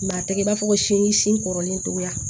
a tɛ i b'a fɔ ko sin kɔrɔlen togoya